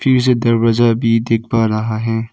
से दरवाजा भी देख पा रहा है।